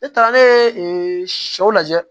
Ne taara ne ye sɛw lajɛ